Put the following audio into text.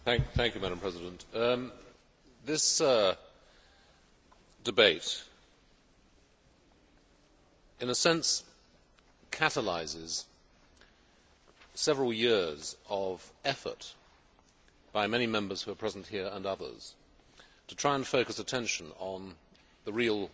Madam President, this debate in a sense catalyses several years of effort by many Members who are present here, and others, to try and focus attention on the real